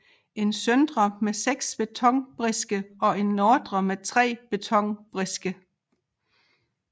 En søndre med seks betonbriske og en nordre med tre betonbriske